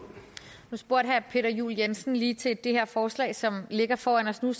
spurgte herre peter juel jensen lige til det her forslag som ligger foran os nu